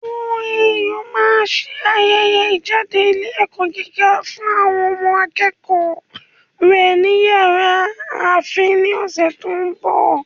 OAU máa se ayẹyẹ ìjáde ilé ẹ̀kọ́ gíga fún àwọn akẹ́kọ̀ọ́ rẹ̀ ni yàrá áḿfì ní ọ̀sẹ̀ tó ń bọ̀